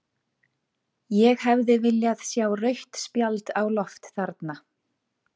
Ég hefði viljað sjá rautt spjald á loft þarna.